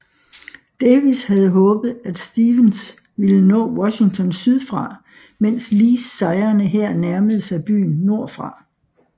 Davis havde håbet at Stephens ville nå Washington sydfra mens Lees sejrende hær nærmede sig byen nordfra